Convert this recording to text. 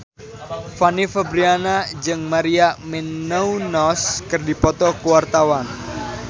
Fanny Fabriana jeung Maria Menounos keur dipoto ku wartawan